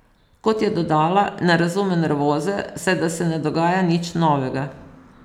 Kot je dodala, ne razume nervoze, saj da se ne dogaja nič novega.